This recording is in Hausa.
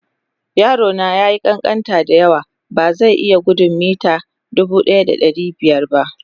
Yaro na ya yi ƙanƙanta da yawa, ba zai iya gudun mita 1500 ba.